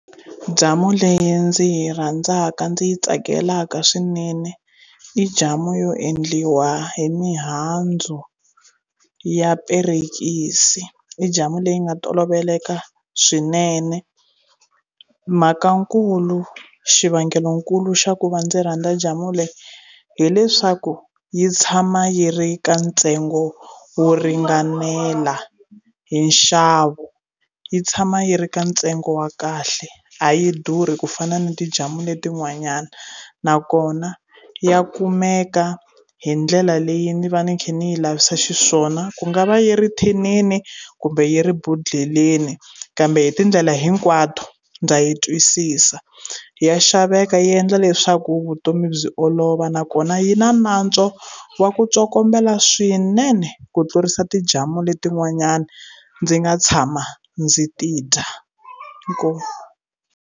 Jamu leyi ndzi yi rhandzaka ndzi yi tsakelaka swinene i jamu yo endliwa hi mihandzu ya perekisi, i jamu leyi nga toloveleka swinene mhakankulu xivangelokulu xa ku va ndzi rhandza jamu leyi hileswaku yi tshama yi ri ka ntsengo wo ringanela hi nxavo yi tshama yi ri ka ntsengo wa kahle a yi durhi ku fana ni ti jamu letin'wanyana nakona ya kumeka hi ndlela leyi ni va ni kha ni yi lavisa xiswona ku nga va yi ri thinini kumbe yi ri bhodleleni kambe hi tindlela hinkwato ndza yi twisisa ya xaveka yi endla leswaku vutomi byi olova nakona yi na nantswo wa ku tsokombela swinene ku tlurisa ti jamu leti n'wanyana ndzi nga tshama ndzi ti dya inkomu.